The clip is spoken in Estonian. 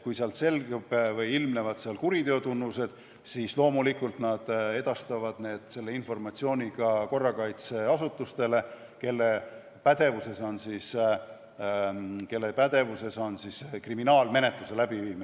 Kui sealt selgub midagi või ilmnevad näiteks kuriteo tunnused, siis loomulikult nad edastavad selle informatsiooni ka korrakaitseasutustele, kelle pädevuses on kriminaalmenetluse läbiviimine.